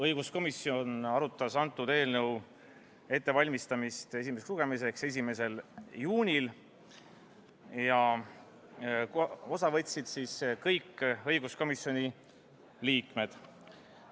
Õiguskomisjon arutas eelnõu ettevalmistamist esimeseks lugemiseks 1. juunil ja osa võtsid kõik õiguskomisjoni liikmed.